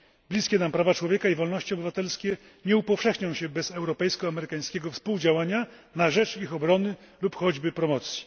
Bliskie nam prawa człowieka i wolności obywatelskie nie upowszechnią się bez europejsko amerykańskiego współdziałania na rzecz ich obrony lub choćby promocji.